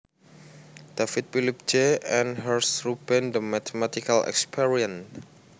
Davis Philip J and Hersh Reuben The Mathematical Experience